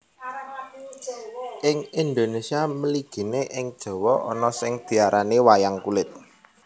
Ing Indonesia mligine ing Jawa ana sing diarani Wayang Kulit